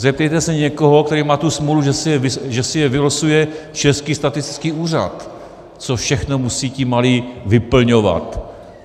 Zeptejte se někoho, který má tu smůlu, že si ho vylosuje Český statistický úřad, co všechno musí ti malí vyplňovat.